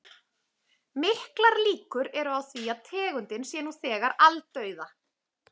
Miklar líkur eru á því að tegundin sé nú þegar aldauða.